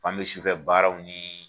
An bɛ sufɛ baaraw ni